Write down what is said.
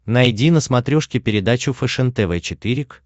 найди на смотрешке передачу фэшен тв четыре к